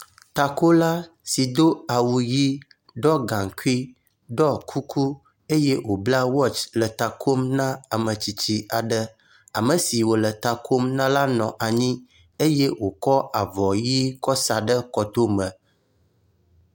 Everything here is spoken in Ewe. Takola so do awu ʋi, ɖɔ gaŋkui, ɖɔ kuku eye wòbla “watch” le ta kom na ame tsitsi aɖe, ame si wòle ta kom na la nɔ anyi eye wòkɔ avɔ ʋi kɔ sa ɖe kɔtome.